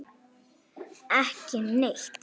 María: Ekki neitt.